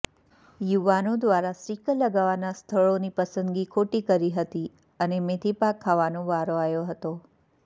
યુવાનો દ્વારા સ્ટીકર લગાવવા સ્થળોની પસંદગી ખોટી કરી હતી અને મેથીપાક ખાવાનો વારો આવ્યો હતો